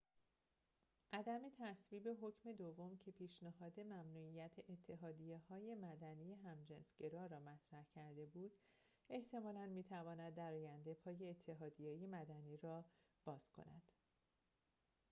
عدم تصویب حکم دوم که پیشنهاد ممنوعیت اتحادیه‌های مدنی همجنس‌گرا را مطرح کرده بود احتمالاً می‌تواند در آینده پای اتحادیه‌های مدنی را باز کند